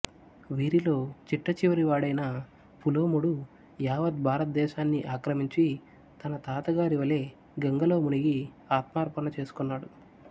వీరిలో చిట్టచివరివాడైన పులోముడు యావత్ భారతదేశాన్ని ఆక్రమించి తన తాత గారి వలె గంగలో మునిగి ఆత్మార్పణ చేసుకొన్నాడు